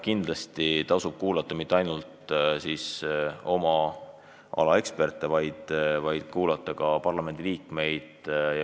Kindlasti tasub kuulata mitte ainult oma ala eksperte, vaid ka parlamendiliikmeid.